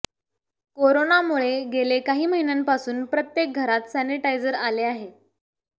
करोनामुळे गेले काही महिन्यांपासून प्रत्येक घरात सॅनिटायझर आले आहे